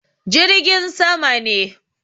Jirgin sama ne.